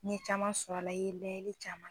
N ɲe caman sɔrɔ a la, i ye layɛli caman.